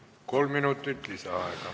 Kolm minutit lisaaega.